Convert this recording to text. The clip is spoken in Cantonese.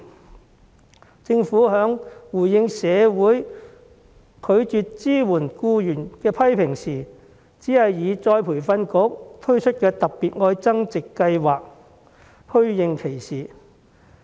面對缺乏僱員支援的批評，政府的回應只是透過僱員再培訓局推出的"特別.愛增值"計劃虛應其事。